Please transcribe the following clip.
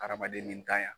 Hadamaden ni tanya